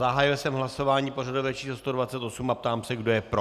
Zahájil jsem hlasování pořadové číslo 128 a ptám se, kdo je pro.